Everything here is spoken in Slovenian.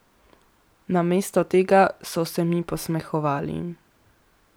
Namesto tega so se mi posmehovali.